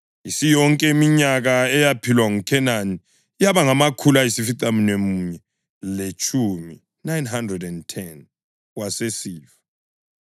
Isiyonke iminyaka eyaphilwa nguKhenani yaba ngamakhulu ayisificamunwemunye letshumi (910), wasesifa.